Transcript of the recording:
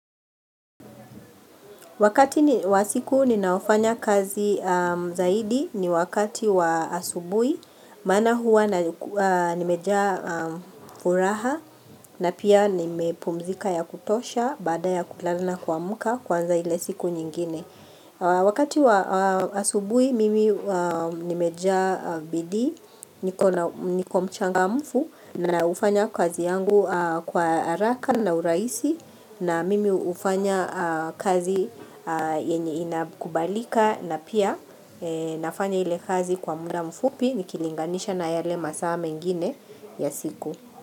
Wakati wa siku ninaofanya kazi zaidi ni wakati wa asubuhi, maana huwa nimejaa furaha na pia nimepumzika ya kutosha baada ya kulala kuamka kuanza ile siku nyingine. Wakati wa asubuui mimi nimejaa bidii niko mchangamfu naufanya kazi yangu kwa haraka na urahisi na mimi hufanya kazi yenye inakubalika na pia nafanya ile kazi kwa muda mfupi nikilinganisha na yale masaa mengine ya siku.